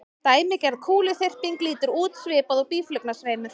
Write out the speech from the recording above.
Dæmigerð kúluþyrping lítur út svipað og býflugnasveimur.